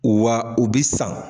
Wa u bi san.